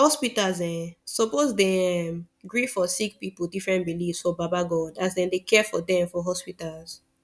hospitas eh suppos dey erm gree for sicki pipu different beliefs for baba godey as dem dey care for dem for hospitas